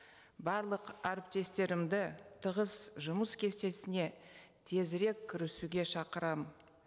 барлық әріптестерімді тығыз жұмыс кестесіне тезірек кірісуге шақырамын